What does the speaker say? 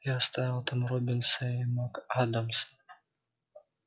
я оставил там роббинса и мак-адамса